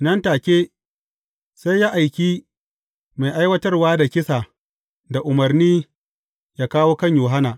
Nan take, sai ya aiki mai aiwatar da kisa da umarni ya kawo kan Yohanna.